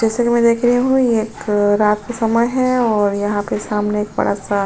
जैसा कि मैं देख मैं देख रही हूँ ये एक रात का समय है और यहां पे सामने एक बड़ा सा --